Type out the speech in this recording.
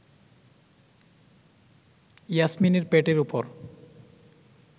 ইয়াসমিনের পেটের ওপর